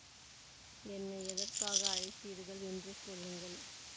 என்னை எதற்காக அழைத்தீர்கள் என்று சொல்லுங்கள்